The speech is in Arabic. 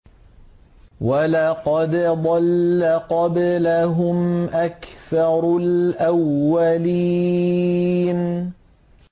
وَلَقَدْ ضَلَّ قَبْلَهُمْ أَكْثَرُ الْأَوَّلِينَ